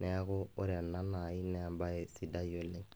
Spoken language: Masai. neaku ore ena nai na embae sidai oleng.